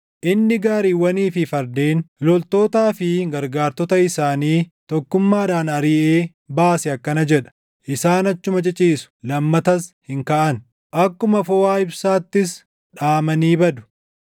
inni gaariiwwanii fi fardeen, loltootaa fi gargaartota isaanii tokkummaadhaan ariʼee baase akkana jedha; isaan achuma ciciisu; lammatas hin kaʼan; akkuma foʼaa ibsaattis dhaamanii badu;